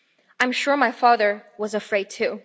I'm sure my father was afraid, too.